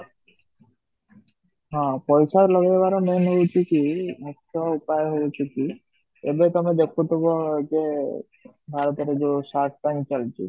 ହଁ ପଇସା ଲଗେଇବାର main ହୋଉଛି କି ମୁଖ୍ୟ ଉପାୟ ହୋଉଛି କି ଏବେ ତମେ ଦେଖୁଥିବ ଯେ ଭାରତରେ ଯୋଉ shark Tank ଚାଲିଛି